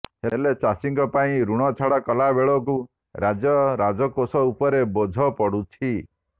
ହେଲେ ଚାଷୀଙ୍କ ପାଇଁ ଋଣ ଛାଡ କଲାବେଳକୁ ରାଜ୍ୟ ରାଜକୋଷ ଉପରେ ବୋଝ ପଡୁଛି